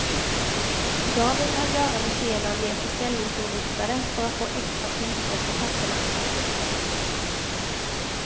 Idag vill han göra museerna mer försäljningsinriktade för att få extra tillskott i kassorna.